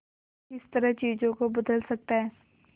किस तरह चीजों को बदल सकता है